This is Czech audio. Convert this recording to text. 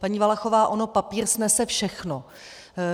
Paní Valachová, on papír snese všechno.